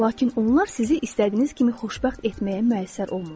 Lakin onlar sizi istədiyiniz kimi xoşbəxt etməyə müəssər olmurlar.